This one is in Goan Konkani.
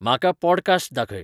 म्हाका ˈपॉडकास्ट् दाखय